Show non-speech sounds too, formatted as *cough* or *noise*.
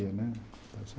*unintelligible* né está certo.